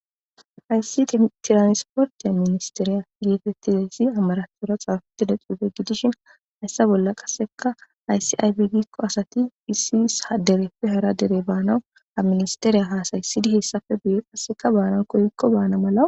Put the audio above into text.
Hayssi tiranisportiya ministeriya igetettidayssi amaratora xaafettida cuufe gidishin hayssa bolla qasseka ayssi aybegikko asati issiis haderefe hara dere baanawu ha ministeriya haasayssidi hessafe buye qasseka baana koykko baana mala